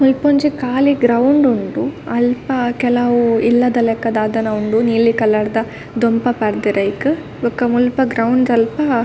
ಮುಲ್ಪೊಂಜಿ ಕಾಲಿ ಗ್ರೌಂಡ್ ಉಂಡು ಅಲ್ಪ ಕೆಲವು ಇಲ್ಲದಲಕ ದಾದನ ಉಂಡು ನೀಲಿ ಕಲರ್ದ ದೊಂಪ ಪಾಡ್ಡೆರ್ ಐಕ್ ಬೊಕ ಮುಲ್ಪ ಗ್ರೌಂಡ್ ದಲ್ಪ --